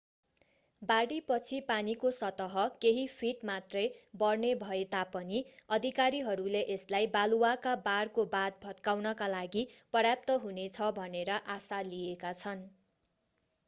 बाढीपछि पानीको सतह केही फिट मात्रै बढ्ने भए तापनि अधिकारीहरूले यसलाई बालुवाका बारको बाँध भत्काउनका लागि पर्याप्त हुनेछ भनेर आशा लिएका छन्